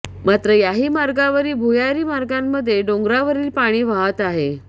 मात्र याही मार्गावरील भुयारी मार्गामध्ये डोंगरावरील पाणी वाहत आहे